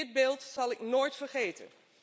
Dit beeld zal ik nooit vergeten.